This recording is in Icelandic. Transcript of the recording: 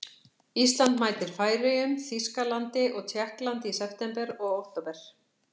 Ísland mætir Færeyjum, Þýskalandi og Tékklandi í september og október.